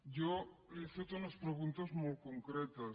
jo li he fet unes preguntes molt concretes